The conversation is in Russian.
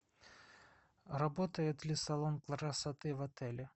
работает ли салон красоты в отеле